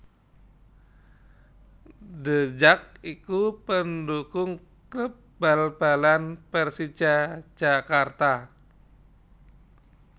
The Jak iku pendukung kléb bal balan Pérsija Jakarta